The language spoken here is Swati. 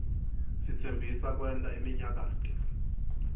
sitsembisa kwenta iminyakato